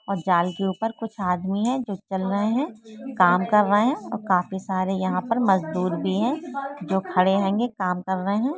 और जाल के ऊपर कुछ आदमी है जो चल रहें हैं काम कर रहें हैं और काफ़ी सारे यहाँ पर मज़दूर भी है जो खड़े हैं काम कर रहें हैं।